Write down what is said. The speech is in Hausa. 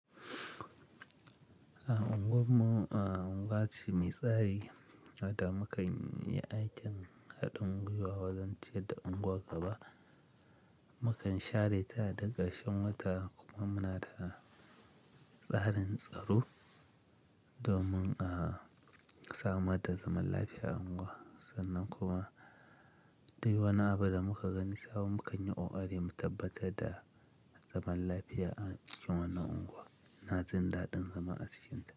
A unguwar mu, a unguwar ce mai tsari, mata makanyi aikin haɗin gwiwa wajen ciyar da unguwar gaba. Mukan share ta da karshen wata kuma muna da tsarin tsaro domin a samar da zaman lafiya a unguwa. Sannan kuma dai wani abu da muka gani sabon muka yi kokari mu tabbatar da zaman lafiya a cikin wannan unguwa ina jin daɗin zama a cikin ta.